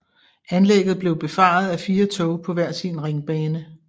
Anlægget blev befaret af fire tog på hver sin ringbane